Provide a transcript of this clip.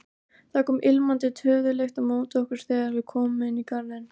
Það kom ilmandi töðulykt á móti okkur þegar við komum inn í garðinn.